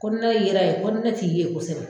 Ko yera ye ko ne t'i ye kosɛbɛ